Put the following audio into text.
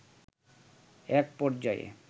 একপর্যায়ে